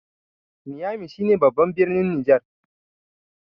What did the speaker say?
niyami shi ne babban birnin Niger